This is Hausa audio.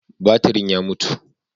Batirin ya mutu.